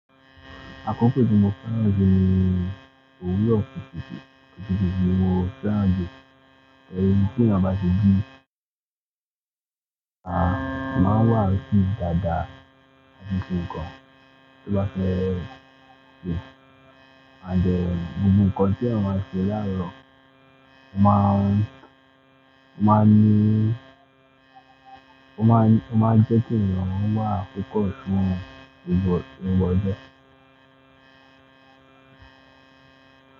Akọkọ tí mo fẹ́ràn jù ni òwúrọ̀ kùtùkùtù, kùtùkùtù ni mo fẹ́ràn jù. Ẹni tí èèyàn bá ti bí, a máa wàásù dàda gbogbo ǹkan tí ó bá fẹ́ ṣe. Gbogbo ǹkan tí èèyàn máa ń ṣe láàárọ̀, ó máa ń jẹ́ kí èèyàn wà focus fun gbogbo ọjọ.